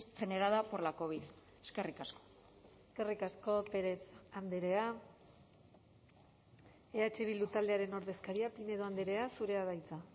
generada por la covid eskerrik asko eskerrik asko pérez andrea eh bildu taldearen ordezkaria pinedo andrea zurea da hitza